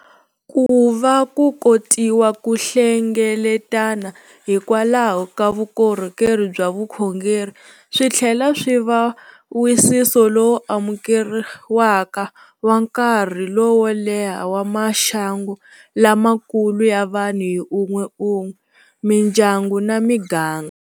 Ku va ku kotiwa ku hlengeletana hikwalaho ka vukorhokeri bya vukhongeri swi tlhela swi va wisiso lowu amukeriwaka wa nkarhi lowo leha wa maxangu lamakulu ya vanhu hi un'we un'we, mindyangu na miganga.